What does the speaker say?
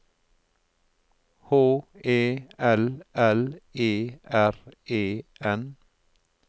H E L L E R E N